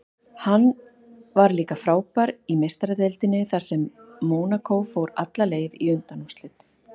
Hann var líka frábær í Meistaradeildinni þar sem Mónakó fór alla leið í undanúrslit.